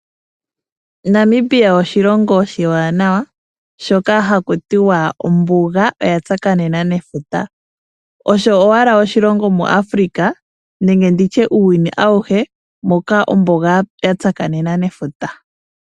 Namibia oshilongo oshiwanawa, shoka haku tiwa ombuga oyatsakanena nefuta . Osho owala oshilongo muAfrika nenge muuyuni auhe moka ombuga yatsakanena nefuta.